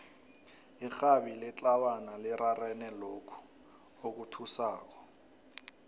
irhabi letlawana lirarene lokhu okuthusako